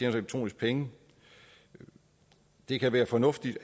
elektroniske penge det kan være fornuftigt